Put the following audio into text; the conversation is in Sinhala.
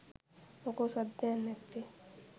මොකෝ සද්දයක් නැත්තෙ .?